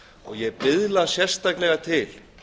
ég biðla sérstaklega til